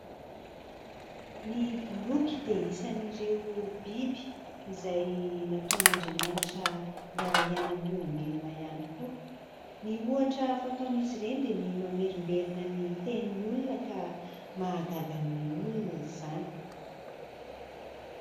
ny boloky dia hisan'ireo biby izay nataon'andriamanitra hiarahiaina amin'ny olombelona ihany koa ny hohatra fataon' izy ireny dia ny mamerimberina ny teniny olona ka mahagaga ny olona izany